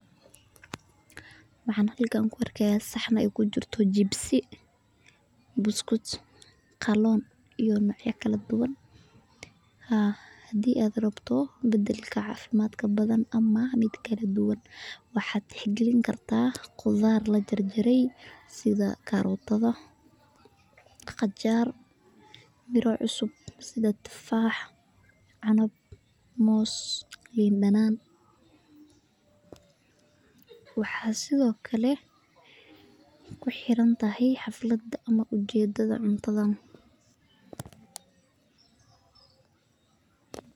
Waxaan halkan ku arkaa saxan aay kujirto jibsi qaaloon iyo nocya kale oo kala duban hadii aad rabto cafimaad waa inaad cunta qudaar iyo friut kala duban waxeey ku xiran tahay xaflad.